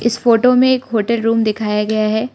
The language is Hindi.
इस फोटो में एक होटल रूम दिखया गया है।